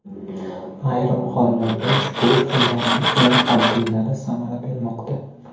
Ayrim hollarda ushbu usullarning eng oddiylari samara bermoqda.